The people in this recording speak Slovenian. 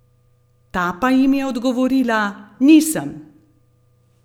Ta pa jim je odgovorila: "Nisem.